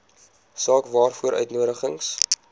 saak waaroor uitnodigings